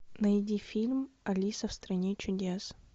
найди фильм алиса в стране чудес